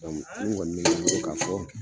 Min ŋɔni mi ne bolo ka fɔ